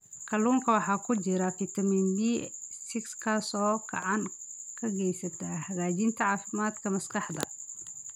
Kalluunka waxaa ku jira fitamiin B6 kaas oo gacan ka geysta hagaajinta caafimaadka maskaxda.